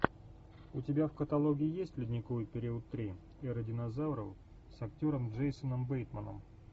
у тебя в каталоге есть ледниковый период три эра динозавров с актером джейсоном бейтманом